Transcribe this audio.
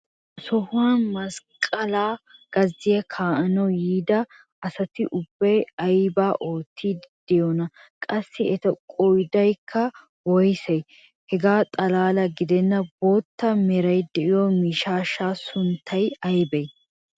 ha sohuwani masqqalaa gazziya kaa'anawu yiida asati ubbay aybaa oottiidi beettiyoonaa? qassi eta qoodaykka woyssee? hegaa xalaala gidennan bootta meray diyo miishshaassi sunttay aybee?